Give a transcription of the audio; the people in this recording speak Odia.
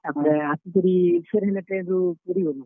ତାପ୍ ରେ ଆସିକରି, ଫେର୍ ହେନ train ରୁ ପୁରୀ ଗଲୁଁ।